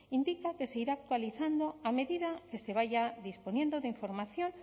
indica que se irá actualizando a medida que se vaya disponiendo de información